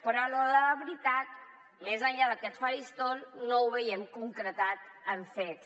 però a l’hora de la veritat més enllà d’aquest faristol no ho veiem concretat en fets